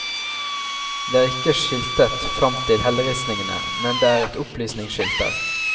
Det er ikke skiltet fram til helleristningene, men det er et opplysningsskilt der.